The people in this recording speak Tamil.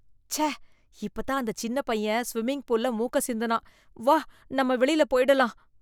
ச்ச! இப்பதான் அந்த சின்ன பையன் ஸ்விம்மிங் பூல்ல மூக்கை சிந்தினான். வா நாம வெளியில போயிடலாம்.